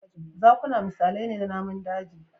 Zakuna misalai ne na namun daji